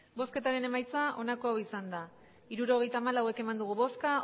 hirurogeita hamalau eman dugu bozka